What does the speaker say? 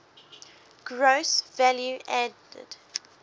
gross value added